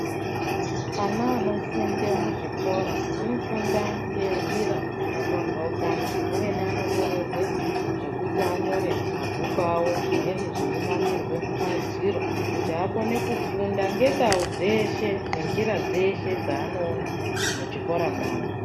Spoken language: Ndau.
Ana anofunde muzvikora, anofunda ngenjira dzakapamphaukana, amweni anonyorerwe zvekuti anyore mumabhuku avo, zvimweni zveinamirwa mumadziro kuti akone kufunda ngendau dzeshe, nenjira dzeshe dzaanoona muchikora mwavo.